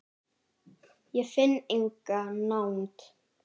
Ég finn enga nánd.